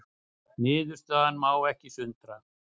Niðurstaðan má ekki sundra